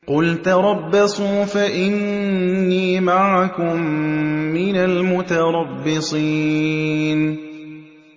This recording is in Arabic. قُلْ تَرَبَّصُوا فَإِنِّي مَعَكُم مِّنَ الْمُتَرَبِّصِينَ